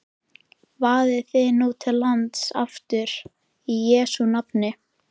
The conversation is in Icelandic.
Vaðið nú til lands aftur í Jesú nafni.